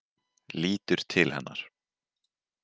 Lítur til hennar.